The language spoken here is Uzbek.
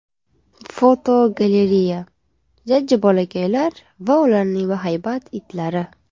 Fotogalereya: Jajji bolakaylar va ularning bahaybat itlari.